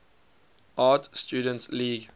art students league